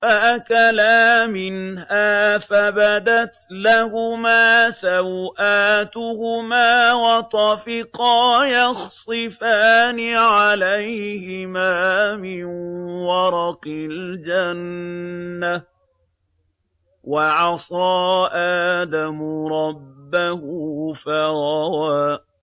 فَأَكَلَا مِنْهَا فَبَدَتْ لَهُمَا سَوْآتُهُمَا وَطَفِقَا يَخْصِفَانِ عَلَيْهِمَا مِن وَرَقِ الْجَنَّةِ ۚ وَعَصَىٰ آدَمُ رَبَّهُ فَغَوَىٰ